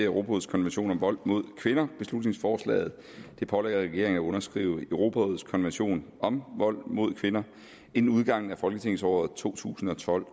europarådets konvention om vold mod kvinder beslutningsforslaget pålægger regeringen at underskrive europarådets konvention om vold mod kvinder inden udgangen af folketingsåret 2012